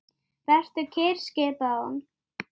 Hann lyfti upp hönd.